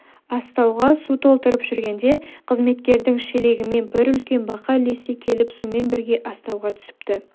астауға су толтырып жүргенде қызметкердің шелегімен бір үлкен бақа ілесе келіп сумен бірге астауға түсіпті